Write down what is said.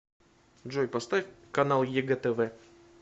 джой поставь канал егэ тв